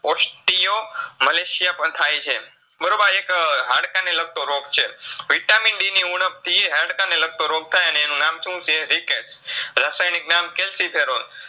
પણ થાયછે. બરોબા એક હાડકાને લગતો રોગ છે Vitamin D ની ઉણબ થી એને હાડકાને લગતો રોગ થાય અને એનું નામ શુંછે Rickets રસાયનીક નામ છે ciferol